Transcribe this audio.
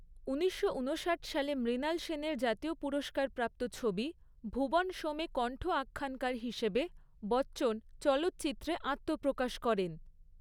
উনিশশো উনষাট সালে মৃণাল সেনের জাতীয় পুরস্কারপ্রাপ্ত ছবি 'ভুবন সোম' এ কণ্ঠ আখ্যানকার হিসেবে, বচ্চন, চলচ্চিত্রে আত্মপ্রকাশ করেন।